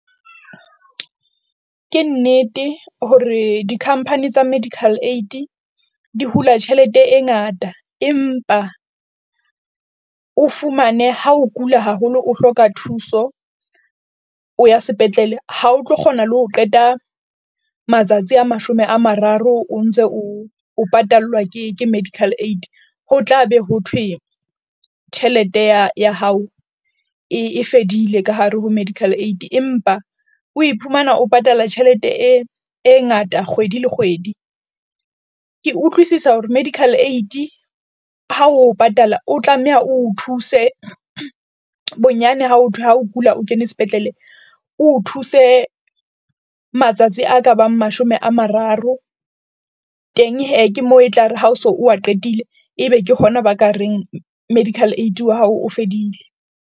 Ke nnete hore di-company tsa medical aid di hula tjhelete e ngata empa o fumane ha o kula haholo, o hloka thuso, o ya sepetlele ha o tlo kgona le ho qeta matsatsi a mashome a mararo. O ntse o o patallwa ke medical aid, ho tla be ho thwe tjhelete ya ya hao e fedile ka hare ho medical aid empa o iphumana o patala tjhelete e e ngata kgwedi le kgwedi. Ke utlwisisa hore medical aid ha o patala, o tlameha o thuse bonyane ha ho thwe ha o kula, o kene spetlele, o thuse matsatsi a ka bang mashome a mararo teng, hee ke mo etlare ha o so wa qetile ebe ke hona ba ka reng medical aid wa hao o fedile.